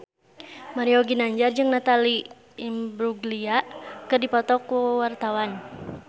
Mario Ginanjar jeung Natalie Imbruglia keur dipoto ku wartawan